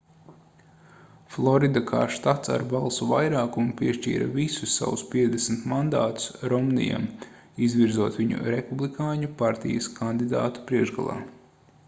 florida kā štats ar balsu vairākumu piešķīra visus savus 50 mandātus romnijam izvirzot viņu republikāņu partijas kandidātu priekšgalā